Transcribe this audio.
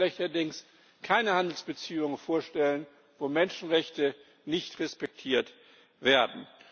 Ich kann mir schlechterdings keine Handelsbeziehung vorstellen, wo Menschenrechte nicht respektiert werden.